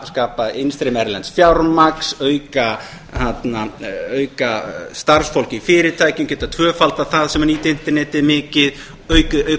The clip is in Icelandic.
skapa innstreymi erlends fjármagns auka starfsfólk í fyrirtækjum geta tvöfaldað það sem nýtir internetið mikið auka